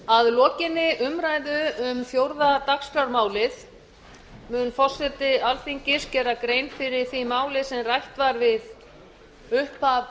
að lokinni umræðu um fjórða dagskrármálið mun forseti alþingis gera grein fyrir því máli sem rætt var við upphaf